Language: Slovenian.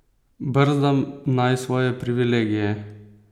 Brzdam naj svoje privilegije!